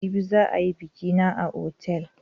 Jibi za a yi biƙi na a otal.